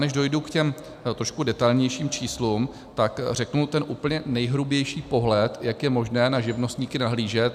Než dojdu k těm trošku detailnějším číslům, tak řeknu ten úplně nejhrubější pohled, jak je možné na živnostníky nahlížet.